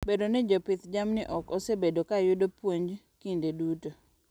Bedo ni jopidh jamni ok osebedo ka yudo puonj kinde duto.